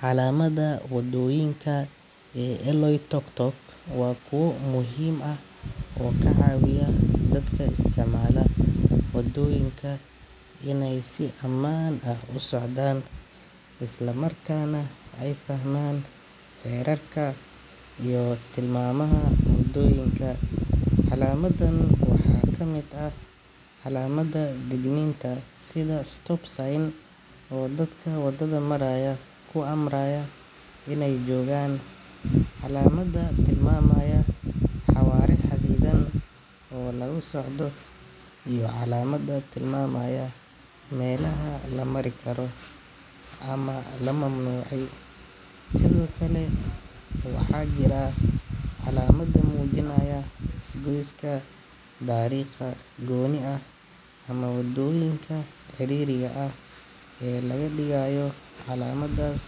Calamada wadooyinka ee Oloitoktok waa kuwo muhiim ah oo ka caawiya dadka isticmaala wadooyinka inay si ammaan ah u socdaan, isla markaana ay fahmaan xeerarka iyo tilmaamaha wadooyinka. Calamadan waxaa ka mid ah calamada digniinta sida stop sign oo dadka wadada maraya ku amraya inay joogaan, calamada tilmaamaya xawaare xadidan oo lagu socdo, iyo calamada tilmaamaya meelaha la mari karo ama la mamnuucay. Sidoo kale, waxaa jira calamada muujinaya isgoyska, dariiqa gooni ah ama wadooyinka ciriiriga ah ee laga digayo. Calamadaas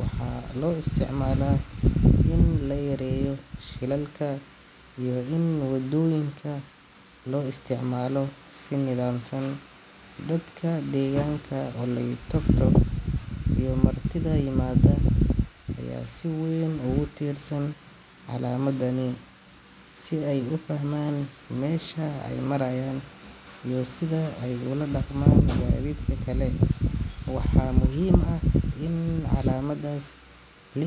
waxaa loo isticmaalaa in la yareeyo shilalka iyo in wadooyinka loo isticmaalo si nidaamsan. Dadka deegaanka Oloitoktok iyo martida yimaada ayaa si weyn ugu tiirsan calamadani si ay u fahmaan meesha ay marayaan iyo sida ay ula dhaqmaan gaadiidka kale. Waxaa muhiim ah in calamadaas la ilaaliyo, oo aan la burburin, si badbaadada wadada loo hubiyo.